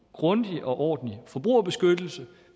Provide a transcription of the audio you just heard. grundig og ordentlig forbrugerbeskyttelse